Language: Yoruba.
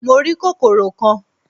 Mo rí kòkòrò kan